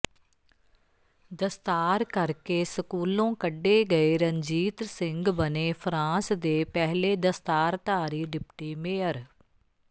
ਦਸਤਾਰ ਕਰਕੇ ਸਕੂਲੋਂ ਕੱਢੇ ਗਏ ਰਣਜੀਤ ਸਿੰਘ ਬਣੇ ਫਰਾਂਸ ਦੇ ਪਹਿਲੇ ਦਸਤਾਰਧਾਰੀ ਡਿਪਟੀ ਮੇਅਰ